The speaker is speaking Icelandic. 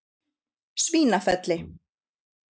Svínafelli